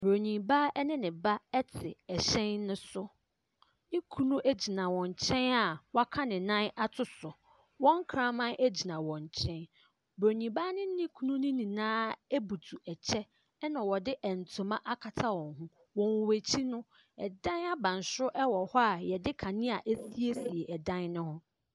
Buroni baa ne ne ba te hyɛn no so. Ne kunu gyina wɔn nkyɛn a wɔaka ne nan ato so. Wɔn kraman gyina wɔn nkyɛn. Buroni baa no ne ne kunu no nyinaa butu kyɛ, ɛnna wɔde ntoma akata wɔn ho. Wɔn akyi no, dan abansoro wɔ a wɔde kanea asiesie dan no ho.